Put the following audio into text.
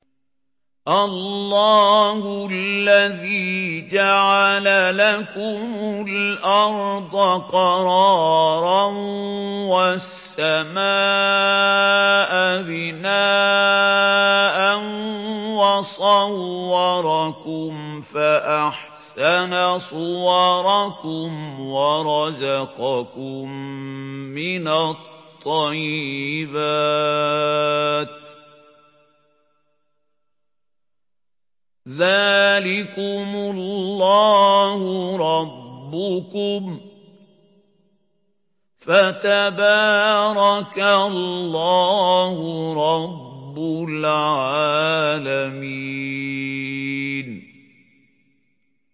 اللَّهُ الَّذِي جَعَلَ لَكُمُ الْأَرْضَ قَرَارًا وَالسَّمَاءَ بِنَاءً وَصَوَّرَكُمْ فَأَحْسَنَ صُوَرَكُمْ وَرَزَقَكُم مِّنَ الطَّيِّبَاتِ ۚ ذَٰلِكُمُ اللَّهُ رَبُّكُمْ ۖ فَتَبَارَكَ اللَّهُ رَبُّ الْعَالَمِينَ